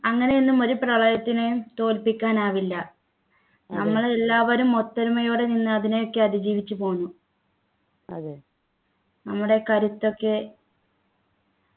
അങ്ങനെയൊന്നും ഒരു പ്രളയത്തിനെയും തോൽപ്പിക്കാൻ ആവില്ല നമ്മളെല്ലാവരും ഒത്തൊരുമയോടെ നിന്നു അതിനൊക്കെ അതിജീവിച്ച് പോന്നു നമ്മുടെ കരുത്തൊക്കെ